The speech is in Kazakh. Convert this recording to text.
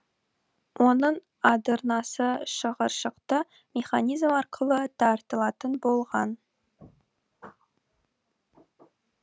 оның адырнасы шығыршықты механизм арқылы тартылатын болған